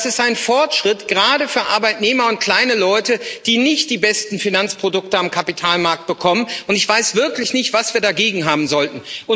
Das ist ein Fortschritt gerade für Arbeitnehmer und kleine Leute, die nicht die besten Finanzprodukte am Kapitalmarkt bekommen. Ich weiß wirklich nicht, was wir dagegen haben sollten.